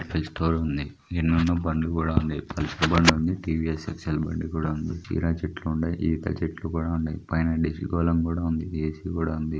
Pistol ఉంది. నిన్ను నా బండి కూడా ఉంది. పల్సర్ బండి కూడా వుంది. టీ_వీ_ఎస్ ఎక్సెల్ బండి కూడా ఉంది. కీర చెట్లు ఉన్నాయ్. ఈత చెట్లు కూడా ఉన్నాయ్. పైనుండి డి_సి గోలమ్ ఉంది. ఏ_సి కూడా ఉంది.